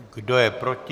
Kdo je proti?